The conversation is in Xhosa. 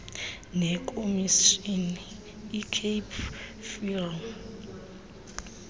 nekomishini icape film